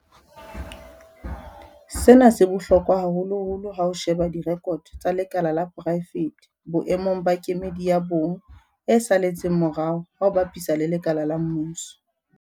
Sena se bohlokwa haholoholo ha o sheba direkoto tsa lekala la poraefete boemong ba kemedi ya bong e saletseng morao ha o bapisa le lekala la mmuso.